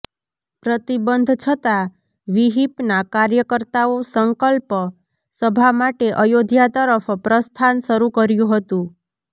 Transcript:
પ્રતિબંધ છતા વિહિપના કાર્યકર્તાઓ સંકલ્પ સભા માટે અયોધ્યા તરફ પ્રસ્થાન શરૂ કર્યું હતું